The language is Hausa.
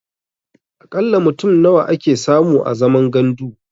A ƙalla mutum nawa ake samu a zaman gandu?